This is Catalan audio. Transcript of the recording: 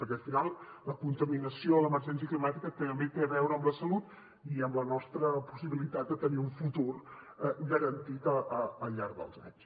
perquè al final la contaminació i l’emergència climàtica també tenen a veure amb la salut i amb la nostra possibilitat de tenir un futur garantit al llarg dels anys